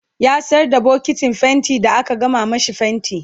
ya sayar da bokitin fainti da aka gama mashi fainti